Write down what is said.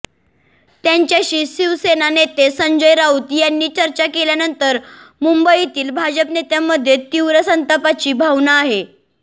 त्यांच्याशी शिवसेना नेते संजय राऊत यांनी चर्चा केल्यानंतर मुंबईतील भाजप नेत्यांमध्ये तीव्र संतापाची भावना आहे